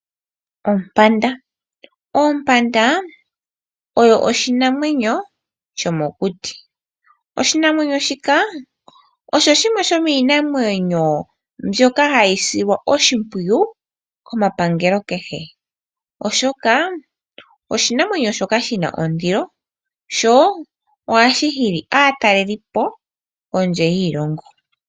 Oompanda odho iinamwenyo yomokuti ndjono hayi silwa oshimpwiyu kepangelo kehe, oshoka iinamwenyo ndjoka yi na ondilo sho ohashi hili aataleli okuza kondje yoshilongo.